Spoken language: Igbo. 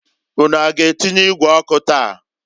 Unu a g'atinye igwe ọkụ taa?